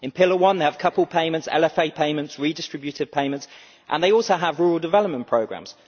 In Pillar 1 they have coupled payments, LFA payments and redistributive payments, and they also have rural development programmes.